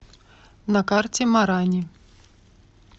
на карте марани